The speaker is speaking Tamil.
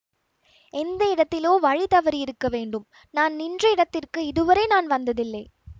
எந்த இடத்திலோ வழி தவறியிருக்க வேண்டும் நான் நின்ற இடத்திற்கு இதுவரை நான் வந்ததில்லை